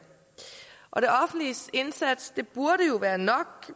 og det offentliges indsats burde jo være nok